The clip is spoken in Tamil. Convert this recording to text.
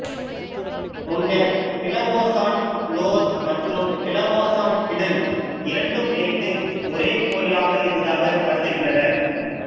முன்னர் பிளவோசான் லோர் மற்றும் பிளவோசான் கிடுல் இரண்டும் இணைந்து ஒரே கோயிலாக இருந்ததாகக் கருதுகின்றனர்